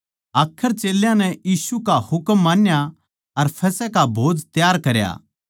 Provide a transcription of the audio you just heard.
आखर चेल्यां नै यीशु का हुकम मान्या अर फसह का भोज त्यार करया